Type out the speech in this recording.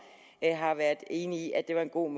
har været enige i at det var en god